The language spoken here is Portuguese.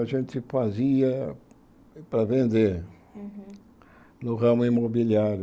A gente fazia para vender no ramo imobiliário.